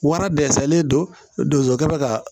Wara dɛsɛlen don o kɛ bi ka